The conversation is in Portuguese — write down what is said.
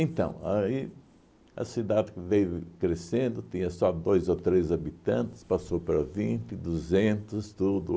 Então, aí a cidade veio crescendo, tinha só dois ou três habitantes, passou para vinte, duzentos, tudo.